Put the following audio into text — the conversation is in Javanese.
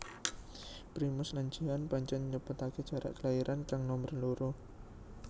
Primus lan Jihan pancén nyepetaké jarak kelairan kang nomer loro